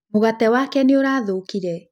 Mũgate wake nĩ ũrathũkĩre.